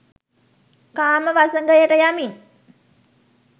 කාම වසඟයට යමින්